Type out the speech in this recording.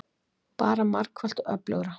Bara margfalt öflugra.